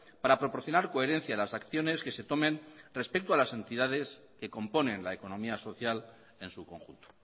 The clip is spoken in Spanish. para proporcionar coherencia a las acciones que se tomen respecto a las entidades que componen la economía social en su conjunto